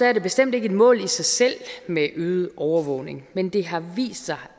er det bestemt ikke et mål i sig selv med øget overvågning men det har vist sig